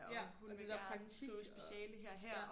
Ja og det der praktik og ja